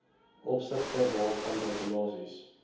opsigte waarvan regulasies